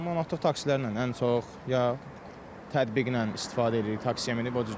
Manatlıq taksilərlə ən çox, ya tətbiqlə istifadə eləyirik taksiyə minib o cür gedirik.